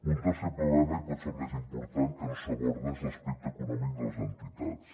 un tercer problema i potser el més important que no s’aborda és l’aspecte econòmic de les entitats